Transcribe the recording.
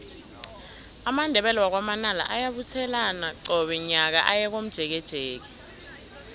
amandebele wakwa manala ayabuthelana qobe nyaka aye komjekejeke